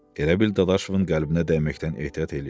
Elə bil Dadaşovun qəlbinə dəyməkdən ehtiyat eləyirdi.